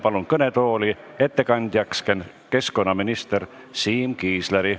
Palun kõnetooli ettekandjaks keskkonnaminister Siim Kiisleri.